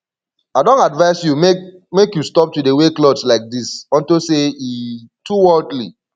i don advice you make make you stop to dey wear cloths like dis unto say e too worldly